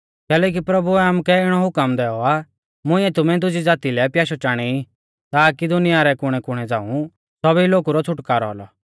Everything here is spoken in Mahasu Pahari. कैलैकि प्रभुऐ आमुकै इणौ हुकम दैऔ आ मुंइऐ तुमै दुजी ज़ाती लै प्याशै चाणेई ताकी दुनिया रै कुणैकुणै झ़ांऊ सौभी लोगु रौ छ़ुटकारौ औलौ